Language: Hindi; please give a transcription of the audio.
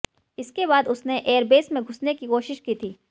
इसके बाद उसने एयरबेस में घुसने की कोशिश की थी